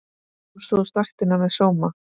Þú stóðst vaktina með sóma.